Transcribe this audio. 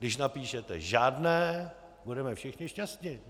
Když napíšete žádné, budeme všichni šťastni.